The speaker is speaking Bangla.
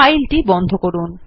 ফাইলটি বন্ধ করুন